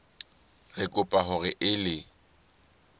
re kopa hore o ele